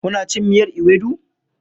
Kuna cin miyar ewedu?